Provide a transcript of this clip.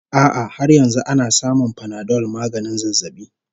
A'a har yanzu ana samun Panadol maganin zazzabi